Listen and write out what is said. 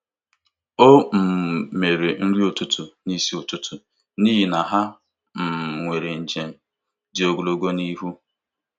O um mere nri ụtụtụ n'isi ụtụtụ n'ihi na ha um nwere njem dị ogologo n'ihu.